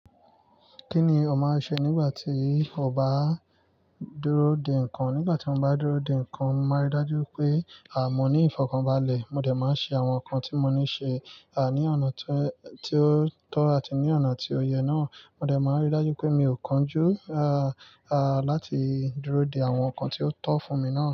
Kí ni ò máa ń ṣe nígbà tí o bá dúró de nǹkan? Nígbà tí mo bá dúró de nǹkan, mo máa rí dájú pé a mọ ní ìfọ̀kànbalẹ̀. Mo dẹ̀ máa ṣe àwọn nǹkan tí mo ní ṣe, à, ní ọ̀nà tí ó tọ̀ àti ní ọ̀nà tí ó yẹ náà. Mo dẹ̀ máa rí dájú pé mi ò kánjú, à, à láti dúró de àwọn nǹkan tí ó tọ́ fún mi náà.